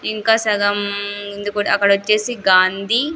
ఇంకా సగం ఉంది కుడా అక్కడొచ్చేసి గాంధీ --